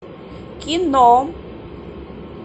кино